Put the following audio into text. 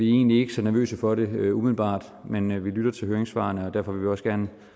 egentlig ikke så nervøse for det umiddelbart men vi lytter til høringssvarene og derfor vil vi også gerne